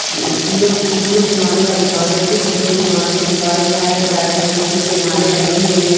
फूलों के मालों का दूकान है जिन फूलों के मालों के दुकान में हर प्रकार के फूल के माले टंगे हुए है।